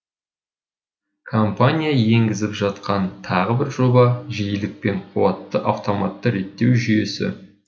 компания енгізіп жатқан тағы бір жоба жиілік пен қуатты автоматты реттеу жүйесі